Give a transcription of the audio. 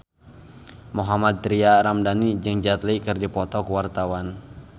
Mohammad Tria Ramadhani jeung Jet Li keur dipoto ku wartawan